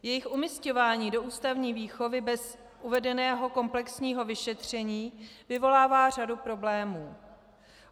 Jejich umísťování do ústavní výchovy bez uvedeného komplexního vyšetření vyvolává řadu problémů.